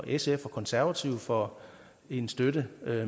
sf og konservative for en støtte